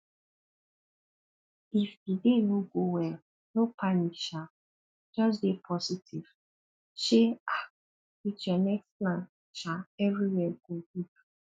if di day no go well no panic um just dey positive sey um with your next plan um everywhere go good